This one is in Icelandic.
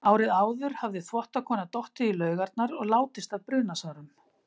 Árið áður hafði þvottakona dottið í laugarnar og látist af brunasárum.